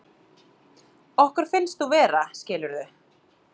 Okkur finnst þú vera, skilurðu.